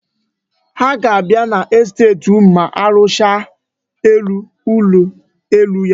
Ha ga-abịa n'estet unu ma arụchaa ụlọ elu ahụ.